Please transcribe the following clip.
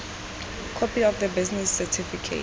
copy of the business certificate